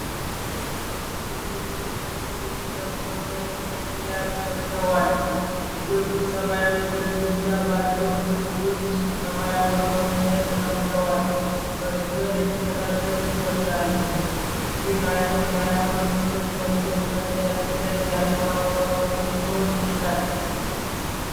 ወንዶች ልጆች ነጭ ልብስ ለብሰው ነጭ ኮፍያ ደፍተዋል። ልጆቹ ሰማያዊ ግድግዳ ባለው ክፍል ውስጥ ሰማያዊ ወንበሮች ላይ ተቀምጠዋል። በትኩረት የሚከታተሉ ይመስላሉ። ይህ አይነት የሃይማኖት ትምህርት በልጆች አስተዳደግ ላይ ያለው አስተዋጽኦ ምን ሊሆን ይችላል?